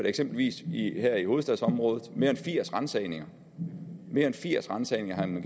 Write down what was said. eksempelvis her i hovedstadsområdet mere end firs ransagninger mere end firs ransagninger